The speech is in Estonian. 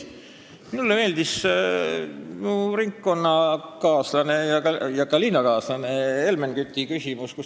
Minule meeldis minu ringkonna- ja kodulinnakaaslase Helmen Küti seisukoht ja küsimus.